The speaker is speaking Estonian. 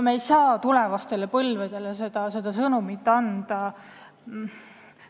Me ei saa tulevastele põlvedele seda sõnumit anda!